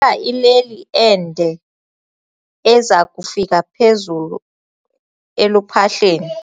Kufuneka ileli ende eza kufika phezulu eluphahleni.